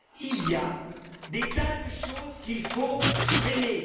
il y a des tas de choses qu'il faut freiner.